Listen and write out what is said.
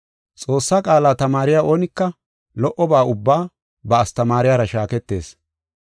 Xoossaa qaala tamaariya oonika lo77oba ubbaa ba astamaariyara shaaketees.